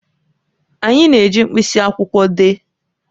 Anyị na-eji mkpịsị akwụkwọ dee